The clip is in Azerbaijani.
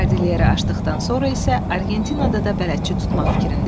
Kardilyeri aşdıqdan sonra isə Argentinada da bələdçi tutmaq fikrində idi.